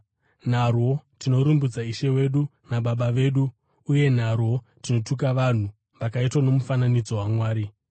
Narwo tinorumbidza Ishe wedu naBaba vedu, uye narwo tinotuka vanhu, vakaitwa nomufananidzo waMwari.